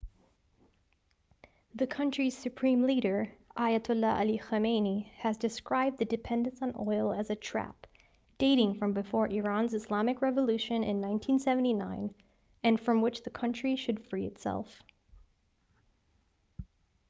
the country's supreme leader ayatollah ali khamenei has described the dependency on oil as a trap dating from before iran's islamic revolution in 1979 and from which the country should free itself